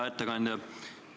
Hea ettekandja!